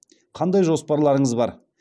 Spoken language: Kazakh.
қандай жоспарларыңыз бар